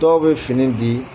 Dɔw bɛ fini di